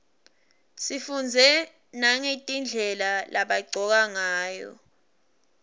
sifundze nagetindlela lebagcoka ngayo